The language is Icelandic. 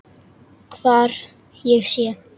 Hvar ég sé.